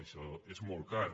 això és molt car